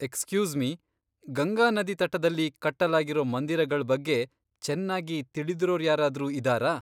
Excuse me, Ganga ನದಿ ತಟದಲ್ಲಿ ಕಟ್ಟಲಾಗಿರೋ ಮಂದಿರಗಳ್ ಬಗ್ಗೆ ಚನ್ನಾಗಿ ತಿಳಿದಿರೋರ್ಯಾರಾದ್ರೂ ಇದಾರಾ?